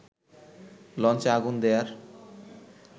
লঞ্চে আগুন দেয়ার